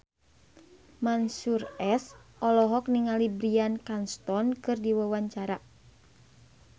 Mansyur S olohok ningali Bryan Cranston keur diwawancara